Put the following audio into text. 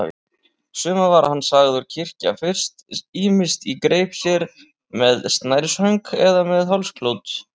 Suma var hann sagður kyrkja fyrst, ýmist í greip sér, með snærishönk eða með hálsklút.